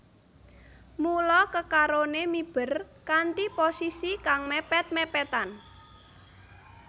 Mula kekaroné miber kanthi posisi kang mèpèt mèpètan